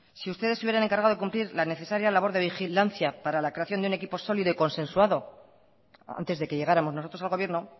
si ustedes si hubieran encargado de cumplir la necesaria labor de vigilancia para la creación de un equipo sólido y consensuado antes de que llegáramos nosotros al gobierno